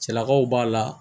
Cɛlakaw b'a la